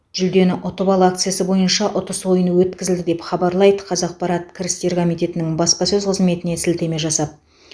жүлдені ұтып ал акциясы бойынша ұтыс ойыны өткізілді деп хабарлайды қазақпарат кірістер комитетінің баспасөз қызметіне сілтеме жасап